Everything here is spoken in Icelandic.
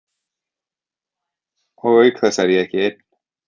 Og auk þess er ég ekki einn.